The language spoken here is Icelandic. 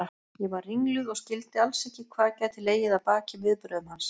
Ég var ringluð og skildi alls ekki hvað gæti legið að baki viðbrögðum hans.